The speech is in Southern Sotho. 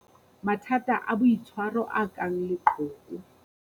Mathata a boitshwaro a kang leqhoko.